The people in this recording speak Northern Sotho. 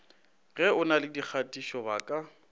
ge o na le dikgatišobaka